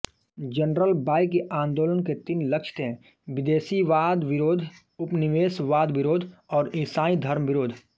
general बाइ के आन्दोलन के तीन लक्ष्य थे विदेशीवादविरोध उपनिवेशवादविरोध और ईसाई धर्मविरोध